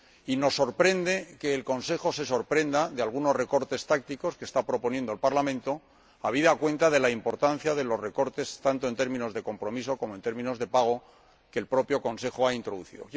Y nos sorprende que el Consejo muestre sorpresa por algunos recortes tácticos que está proponiendo el Parlamento, habida cuenta de la importancia de los recortes, tanto en términos de créditos de compromiso como en términos de créditos de pago, que el propio Consejo ha introducido.